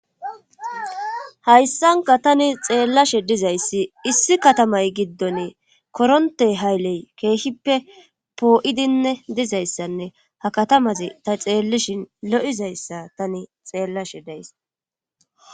hayssanka tani xeellashe dizayssi issi katamay giddon koronte hayley keeshippe poo7idinne dizayssanne ha katamazi ta xeellishin lo7izayssa tani xeellashe days